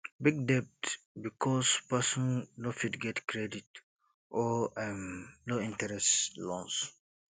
big debt because person no fit get credit or um low interest loans